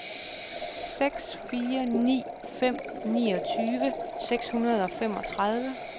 seks fire ni fem niogtyve seks hundrede og femogtredive